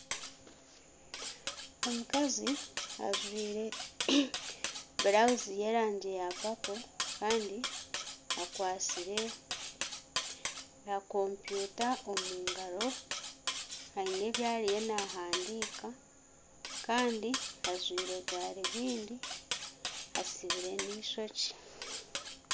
Omukazi ajwaire burawuzi y'erangi ya papo kandi akwatsire ka kompyuta omu ngaro aine ebi ariyo nahandiika kandi ajwaire garubindi atsibire n'eishokye.